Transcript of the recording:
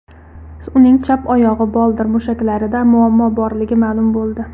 Uning chap oyog‘i boldir mushaklarida muammo borligi ma’lum bo‘ldi.